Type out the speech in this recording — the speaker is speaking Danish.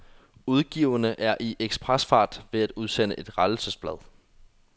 Udgiverne er i ekspresfart ved at udsende et rettelsesblad.